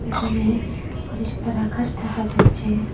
এখানে পরিষ্কার আকাশ দেখা যাচ্ছে।